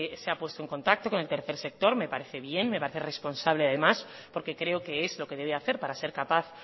se ha puesto en contacto con el tercer sector me parece bien me parece responsable además porque creo que es lo que debe hacer para ser capaz